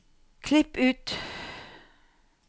Klipp ut